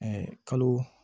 kalo